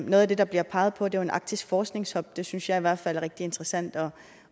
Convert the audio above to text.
noget af det der bliver peget på er jo en arktisk forskningshub det synes jeg i hvert fald er rigtig interessant